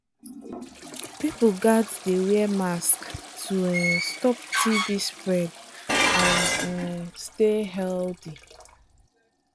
people gats dey wear mask to um stop tb spread and um stay healthy.